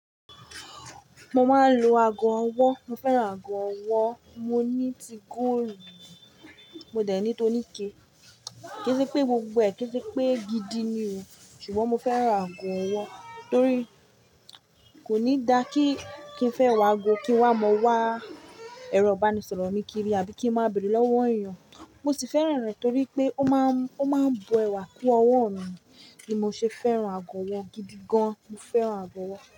Mo máa ń lo ago ọwọ́. Mo fẹ́ràn ago ọwọ́. Mo ní ti góòlù, mo dẹ̀ ní tó níke. Kì ń ṣe pé gbogbo ẹ̀ kí ń ṣe pé gidi ni o, ṣùgbọ́n mo fẹ́ràn ago ọwọ́ torí kò ní dá kí n fẹ́ wa ago kí wàá mọ wá ẹrọ ìbánisọ̀rọ̀ mi kiri àbí kí ń má bẹ̀rẹ̀ lọ́wọ́ èèyàn. Mo sì fẹ́ràn rẹ̀ torí pé ó máa ń, ó máa ń bu ẹwà kún ọwọ́ mi ni mo ṣe fẹ́ràn ago ọwọ́ gidi gan. Mo fẹ́ràn ago ọwọ́.